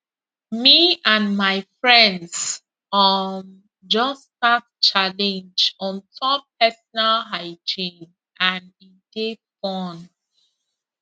me and my friends um just start challenge on top personal hygiene and e dey fun